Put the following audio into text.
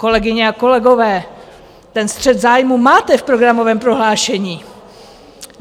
Kolegyně a kolegové, ten střet zájmů máte v programovém prohlášení.